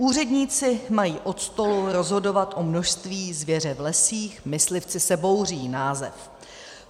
"Úředníci mají od stolu rozhodovat o množství zvěře v lesích, myslivci se bouří" - název.